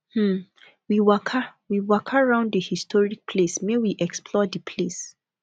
um we waka we waka round di historic place make we explore di place